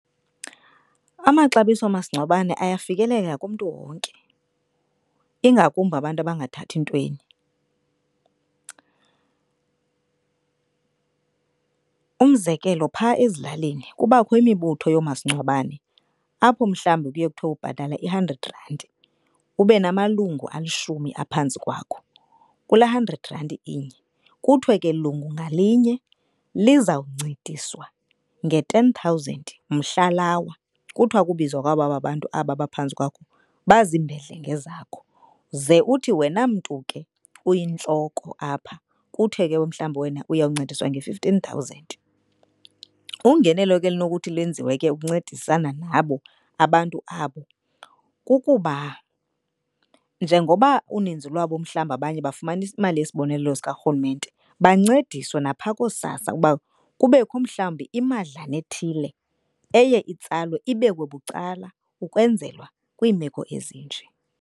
Amaxabiso oomasingcwabane ayafikeleleka kumntu wonke ingakumbi abantu abangathathi ntweni. Umzekelo, phaa ezilalini kubakho imibutho yoomasingcwabane apho mhlawumbi kuye kuthiwe ubhatala i-hundred rand ube namalungu alishumi aphantsi kwakho. Kula hundred randi inye kuthiwe ke lungu ngalinye lizawuncediswa nge-ten thousand mhla lawa. Kuthiwa ukubizwa kwaba bantu aba baphantsi kwakho bazimbedlenge zakho. Ze uthi wena mntu ke uyintloko apha kuthe ke mhlawumbi wena uyawuncediswa nge-fifteen thousand ungenelo ke elinokuthi lwenziwe ke ukuncedisana nabo abantu abo kukuba njengoba uninzi lwabo mhlawumbi abanye bafumana imali yesibonelelo sikarhulumente, bancediswe naphaa kooSASSA ukuba kubekho mhlawumbi imadlana ethile eye itsalwe ibekwe bucala ukwenzelwa kwiimeko ezinje.